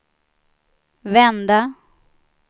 vända